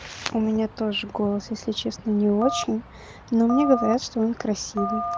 у меня тоже голос если честно не очень но мне говорят что он красивый